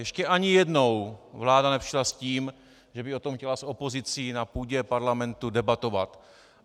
Ještě ani jednou vláda nepřišla s tím, že by o tom chtěla s opozicí na půdě parlamentu debatovat.